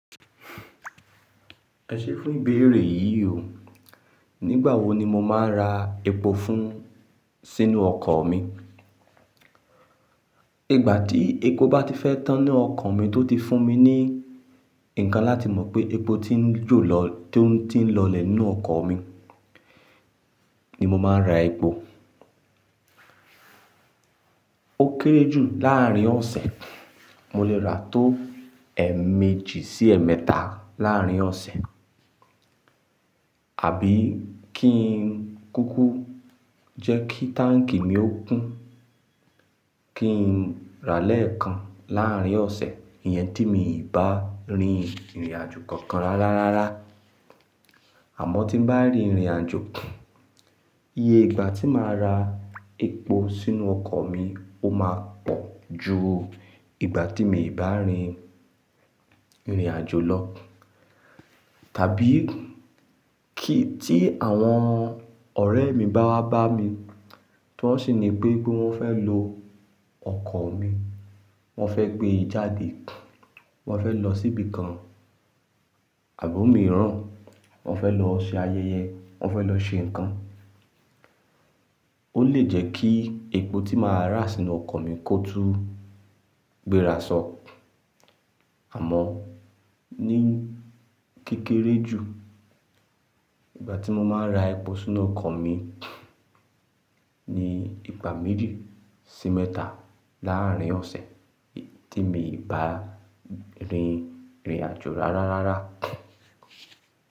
Ẹ ṣé fún ìbéèrè yìí o. Nígbà wo ni mo máa ń ra epo fún sínú ọkọ̀ mi? Ìgbà tí epo bá ti fẹ́ tán n nu ọkọ̀ mi tó ti fún mi ní ǹkan láti mọ̀ pé epo ti ń jolọ tó ti ń lọlẹ̀ nínú ọkọ̀ mi ni mo máa ń ra epo. Ó kéré jù láàrín ọ̀sẹ̀, mo lè ra tó èèmejì sí èèmẹ́ta láárín ọ̀sẹ̀, àbí kí n kúkú jẹ́ kí táǹkì mi ó kún, kí n rà lẹ́ẹ̀kan láàrín ọ̀sẹ̀, iyen tí mi ò bá rin ìrìnàjò kankan rárá rárá. Àmọ́ tí n bá rìn ìrìnàjò, iye ìgbà tí màá ra epo sínú ọkọ̀ mi ó máa pọ̀ ju ìgbà tí mii bá rin ìrìnàjò lọ. Tàbí kí tí àwọn ọ̀rẹ́ mi bá wá bá mi, tí wọ́n sì ní pé wọ́n fẹ́ lo ọkọ̀ mi, wọ́n fẹ́ gbé e jáde, wọ́n fẹ́ lọ síbi kan, àbọ̀ omi ràn, wọ́n fẹ́ lọ ṣe ayẹyẹ, wọ́n fẹ́ lọ ṣe nǹkan, ó lè jẹ́ kí epo tí màá rà sínú ọkọ̀ mi kó tún gbéra sọ́. Àmọ́ ní kékeré jù, ìgbà tí mo máa ń ra epo sínú ọkọ̀ mi ni ìgbà méjì sí mẹ́ta láárín ọ̀sẹ̀ tí mii bá rin ìrìnàjò rárá rárá.